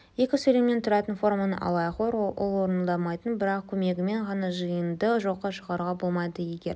екі сөйлемнен тұратын форманы алайық ол орындалмайтын бірақ көмегімен ғана жиынды жоққа шығаруға болмайды егер